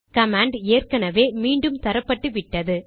command ஏற்கெனெவே மீண்டும் தரப்பட்டுவிட்டது